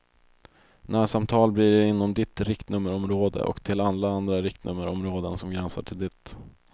Närsamtal blir det inom ditt riktnummerområde och till alla andra riktnummerområden som gränsar till ditt.